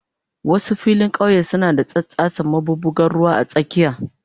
Wasu filin kauye suna da tsattsasen maɓuɓɓugar ruwa a tsakiya.